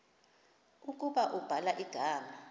ukuba ubhala igama